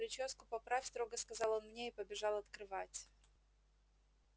причёску поправь строго сказал он мне и побежал открывать